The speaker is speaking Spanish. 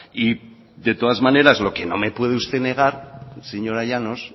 y de todas maneras lo que no me puede usted negar señora llanos